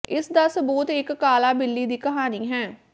ਇਸ ਦਾ ਸਬੂਤ ਇੱਕ ਕਾਲਾ ਬਿੱਲੀ ਦੀ ਕਹਾਣੀ ਹੈ